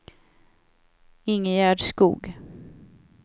Ingegerd Skog